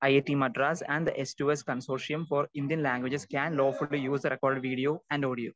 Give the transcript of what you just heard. Speaker 2 I I T Madras and the S to S consortium for Indian languages can lawfully user recorded video and audio.